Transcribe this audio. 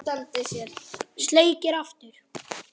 Sleikir aftur.